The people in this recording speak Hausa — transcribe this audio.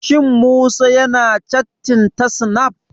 Shin Musa ya na cattin ta snaf?